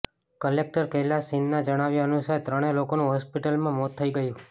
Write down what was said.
collector Kailash શિંદેના જણાવ્યા અનુસાર ત્રણે લોકોનુ હોસ્પિટલમાં મોત થઈ ગયુ